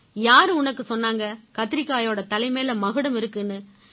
யாரு உனக்கு சொன்னாங்க கத்திரிக்காயோட தலைமேல மகுடம் இருக்குன்னு